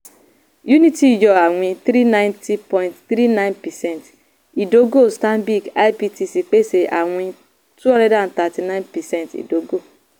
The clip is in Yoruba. unity yọ àwìn three ninety point three nine percent ìdógò stanbic ibtc pèsè àwìn two hundred and thirty nine percent ìdógò.